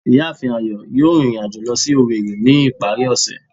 Ìyáàfín Ayo yóò rín irín ajọ̀ lọ si Owerri ni ipari ose.